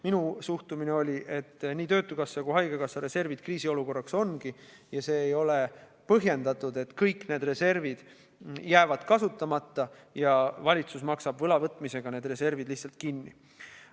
Minu suhtumine oli selline, et nii töötukassa kui ka haigekassa reservid ongi ette nähtud kriisiolukorraks ja ei ole põhjendatud, et kõik need reservid jäävad kasutamata ja valitsus maksab võla võtmisega need reservid lihtsalt kinni.